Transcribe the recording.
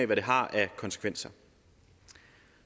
hvad det har af konsekvenser